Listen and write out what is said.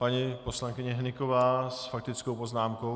Paní poslankyně Hnyková s faktickou poznámkou.